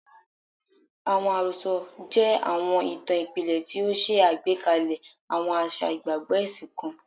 Awọn arosọ jẹ awọn itan ipilẹ ti o ṣe agbekalẹ awọn aṣa igbagbọ ẹsin kan